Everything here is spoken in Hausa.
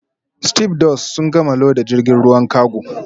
Stevedores sun gama loda jirgin ruwan kago